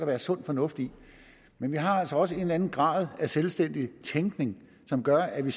være sund fornuft i men vi har altså også en eller anden grad af selvstændig tænkning som gør at vi